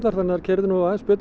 þær keyrðu nú aðeins betur